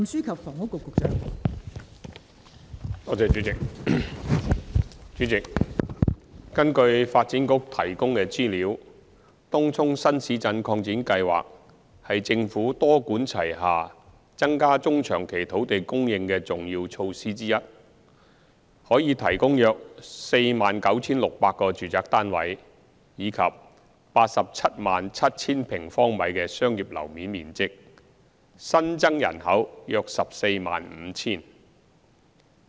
代理主席，根據發展局提供的資料，東涌新市鎮擴展計劃是政府多管齊下增加中長期土地供應的重要措施之一，可提供約 49,600 個住宅單位及 877,000 平方米的商業樓面面積，新增人口約 145,000。